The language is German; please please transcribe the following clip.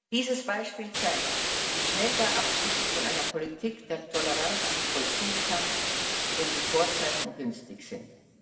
Dieses Beispiel zeigt, wie schnell der Abschied von einer Politik der Toleranz sich vollziehen kann, wenn die Vorzeichen günstig sind.